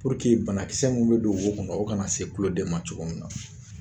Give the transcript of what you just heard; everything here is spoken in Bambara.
bana kisɛ mun be don wo kɔnɔ o kana se tulo den ma cogo min na.